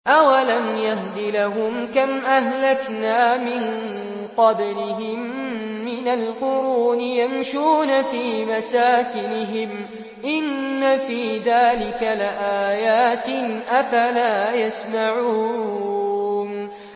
أَوَلَمْ يَهْدِ لَهُمْ كَمْ أَهْلَكْنَا مِن قَبْلِهِم مِّنَ الْقُرُونِ يَمْشُونَ فِي مَسَاكِنِهِمْ ۚ إِنَّ فِي ذَٰلِكَ لَآيَاتٍ ۖ أَفَلَا يَسْمَعُونَ